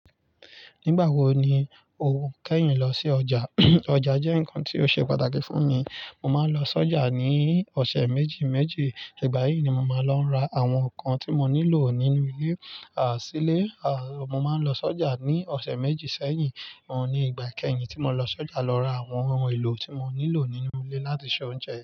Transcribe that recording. Nígbà wo ni o kẹ́yin lọ sí ọjà? Ọjà jẹ́ nǹkan tí ó ṣe pàtàkì fún mi. Mo máa ń lọ sọ́jà ní ọ̀sẹ̀ méjì méjì. Ìgbà yìí ni mo máa ń lọ ra àwọn nǹkan tí mo nílò nínú ilé, à sílé. À mo máa ń lọ sọ́jà ní ọ̀sẹ̀ méjì sẹ́yìn. Mo ní ìgbà kẹ́yìn tí mo lọ sọ́jà lọ ra àwọn ohun èlò tí mo nílò nínú ilé láti se oúnjẹ.